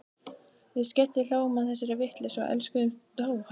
Við skellihlógum að þessari vitleysu og elskuðumst á eftir.